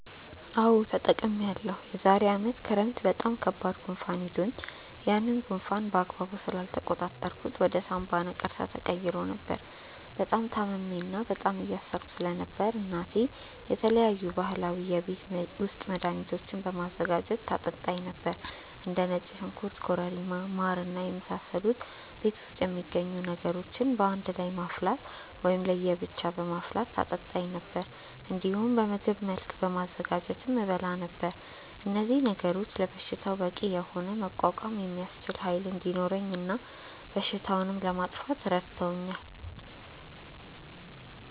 አዎ ተጠቅሜያለሁ። የዛሬ አመት ክረምት በጣም ከባድ ጉንፋን ይዞኝ ነበር። ያንን ጉንፋን በአግባቡ ስላልተቆጣጠርኩት ወደ ሳምባ ነቀርሳ ተቀይሮ ነበር። በጣም ታምሜ እና በጣም እየሳልኩ ስለነበር እናቴ የተለያዩ ባህላዊ የቤት ውስጥ መድሀኒቶችን በማዘጋጀት ታጠጣኝ ነበር። እንደ ነጭ ሽንኩርት ኮረሪማ ማር እና የመሳሰሉ ቤት ውስጥ የሚገኙ ነገሮችን በአንድ ላይ በማፍላት ወይም ለየ ብቻ በማፍላት ታጠጣኝ ነበር። እንዲሁም በምግብ መልክ በማዘጋጀትም እበላ ነበር። እነዚህ ነገሮች ለበሽታው በቂ የሆነ መቋቋም የሚያስችል ኃይል እንዲኖረኝ እና በሽታውንም ለማጥፋት ረድቶኛል።